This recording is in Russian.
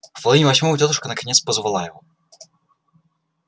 в половине восьмого тётушка наконец позвала его